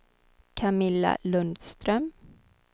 Camilla Lundström